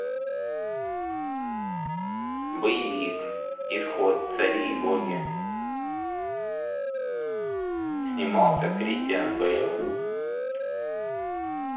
боевик исход цари и боги снимался кристиан бейл